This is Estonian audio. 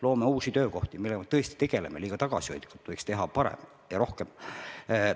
Loome uusi töökohti, sellega me tõesti tegeleme, aga liiga tagasihoidlikult, võiks teha paremini ja rohkem.